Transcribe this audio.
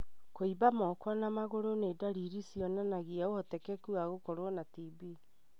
Kũimba moko na magũrũ nĩ ndariri cionanagia ũhotekeku wa gũkorwo na TB.